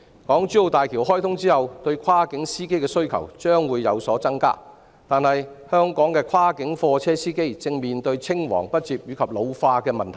港珠澳大橋開通後，對跨境司機的需求將會有所增加；但是，香港的跨境貨車司機正面對青黃不接及老年化的問題。